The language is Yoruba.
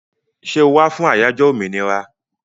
Ṣẹ́ o wá fún àyájó òmìnira?